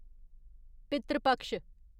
पितृ पक्ष